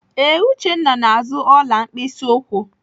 Ee, Uchenna na-azụ ọla mkpịsị ụkwụ.